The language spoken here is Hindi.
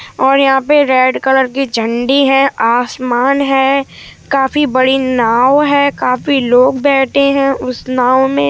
और यहाँ पर रेड कलर की झंडी है| आसमान है काफी बड़ी नाव है| काफी लोग बैठे है उस नाव में --